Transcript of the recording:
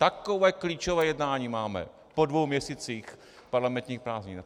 Takové klíčové jednání máme po dvou měsících parlamentních prázdnin.